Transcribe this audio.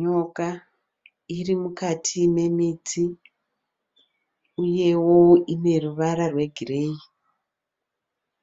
Nyoka iri mukati memiti uyewo ine ruvara rwegireyi.